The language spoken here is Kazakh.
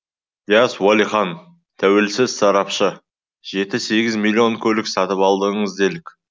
дияс уәлихан тәуелсіз сарапшы жеті сегіз миллион көлік сатып алдыңыз делік